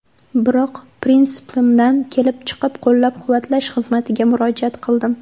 Biroq prinsipimdan kelib chiqib, qo‘llab-quvvatlash xizmatiga murojaat qildim.